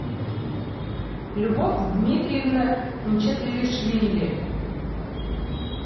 любовь дмитриевна мчедлишвили